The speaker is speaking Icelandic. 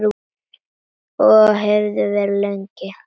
Og hefði verið lengi.